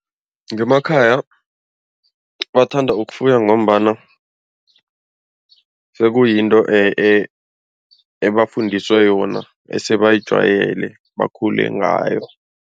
Ngemakhaya bathanda ukufuya ngombana sekuyinto ebafundiswe yona esebayijwayele bakhule ngayo.